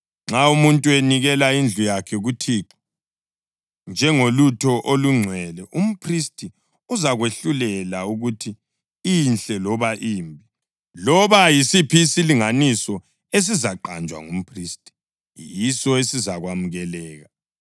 Nxa umuntu enikela indlu yakhe kuThixo njengolutho olungcwele, umphristi uzakwahlulela ukuthi inhle loba imbi. Loba yisiphi isilinganiso esizaqanjwa ngumphristi, yiso esizakwamukeleka.